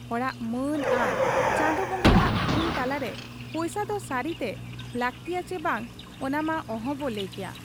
ᱦᱚᱲᱟᱜ ᱢᱟᱹᱱ ᱟᱨ ᱪᱟᱸᱫᱚ ᱵᱟᱝᱜᱟ ᱦᱟᱜ ᱛᱷᱩᱢ ᱛᱟᱞᱟᱨᱮ ᱯᱩᱭᱥᱟᱹ ᱫᱚ ᱥᱟᱹᱨᱤᱛᱮ ᱞᱟᱹᱠᱛᱤᱭᱟ ᱪᱤ ᱵᱟᱝ, ᱚᱱᱟᱢᱟ ᱚᱦᱚᱵᱚ ᱞᱟᱹᱭ ᱠᱮᱭᱟ ᱾